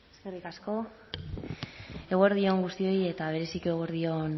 eskerrik asko eguerdi on guztioi eta berezik eguerdi on